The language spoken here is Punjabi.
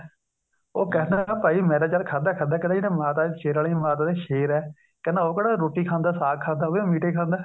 ਉਹ ਕਹਿੰਦਾ ਭਾਈ ਮੈਂ ਤਾਂ ਚਲ ਖਾਦਾ ਖਾਦਾ ਕਹਿੰਦਾ ਜਿਹੜਾ ਮਾਤਾ ਦਾ ਸ਼ੇਰਾਵਾਲੀ ਦਾ ਮਾਤਾ ਦਾ ਸ਼ੇਰ ਹੈ ਕਹਿੰਦਾ ਉਹ ਕਿਹੜਾ ਰੋਟੀ ਖਾਂਦਾ ਸਾਗ ਖਾਦਾ ਉਹ ਵੀ ਮੀਟ ਖਾਦਾ